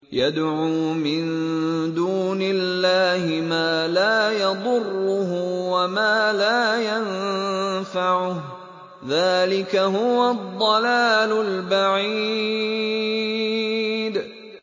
يَدْعُو مِن دُونِ اللَّهِ مَا لَا يَضُرُّهُ وَمَا لَا يَنفَعُهُ ۚ ذَٰلِكَ هُوَ الضَّلَالُ الْبَعِيدُ